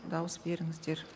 дауыс беріңіздер